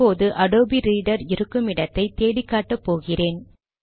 இப்போது Adobe Reader இருக்கும் இடத்தை தேடி காட்டப் போகிறேன்